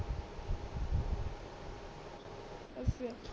ਅੱਛਾ